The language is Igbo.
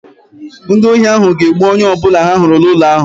Ndị ohi ahụ ga-egbu onye ọbụla ha hụrụ n'ụlọ ahụ